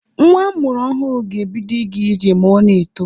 Nwa a mụrụ ọhụrụ ga-ebido ịga ije ma o na-eto.